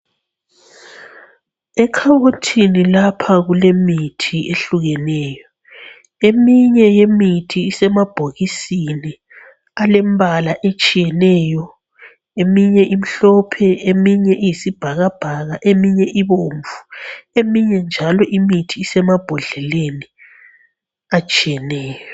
Ekhabothini lapha kulemithi ehlukeneyo , eminye yemithi isemabhokisini alembala etshiyeneyo eminye imhlophe eminye iyisibhakabhaka ,eminye ibomvu eminye njalo imithi esemambodleleni atshiyeneyo